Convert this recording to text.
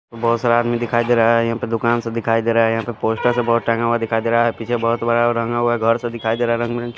बहोत सा आदमी दिखाई दे रहा है यहा पे दुकान सा दिखाई देरा है यहा पे पोस्टर सा बोर्ड टंगा हुआ दिखाई देरा है पीछे बहोत बड़ा रंगा हुआ गर दिखाई देरा है रंग बिरंगी--